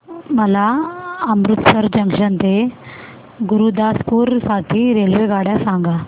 मला अमृतसर जंक्शन ते गुरुदासपुर साठी रेल्वेगाड्या सांगा